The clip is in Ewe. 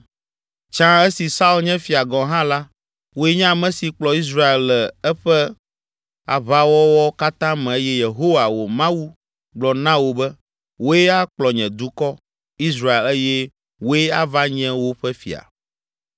Tsã esi Saul nye fia gɔ̃ hã la, wòe nye ame si kplɔ Israel le eƒe aʋawɔwɔ katã me eye Yehowa, wò Mawu, gblɔ na wò be, ‘Wòe akplɔ nye dukɔ, Israel eye wòe ava nye woƒe fia.’ ”